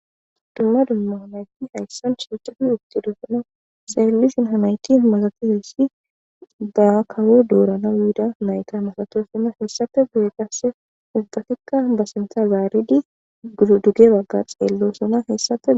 Dumma dumma nayt haysan shiqid utidosona xelishn ha nayt masatizaya ba kawo diranaw yidaysa masatosona . Hesappe guye qase ubbatika ba sinthan zarid pudedig ubba xelosona